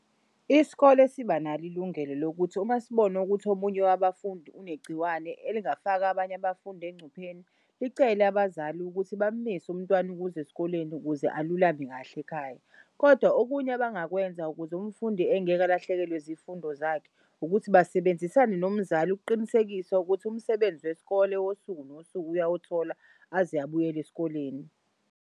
Isikole sibanalo ilungelo lokuthi uma sibona ukuthi omunye wabafundi unegciwane elingafaka abanye abafundi engcupheni. Licele abazali ukuthi bamis'umntwana ukuz'esikoleni ukuze alulame kahle ekhaya, kodwa okunye abangakwenza ukuze umfundi engeke alahlekelwe zifundo zakhe ukuthi basebenzisane nomzali ukuqinisekisa ukuthi umsebenzi wesikole wosuku nosuku uyawuthola aze abuyele esikoleni.